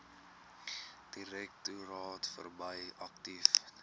direktoraat verbrei aktief